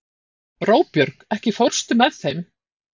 Róbjörg, ekki fórstu með þeim?